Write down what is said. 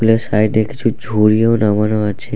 ফুলের সাইড -এ কিছু ঝুড়ি ও নামানো আছে।